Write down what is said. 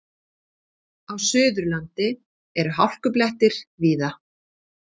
Á Suðurlandi eru hálkublettir víða